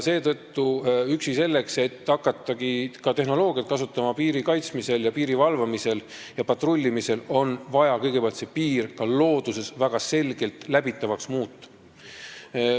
Seetõttu üksi selleks, et hakata piiri kaitsmisel, valvamisel ja patrullimisel tehnoloogiat kasutama, on vaja kõigepealt see piir ka looduses väga selgelt läbitavaks muuta.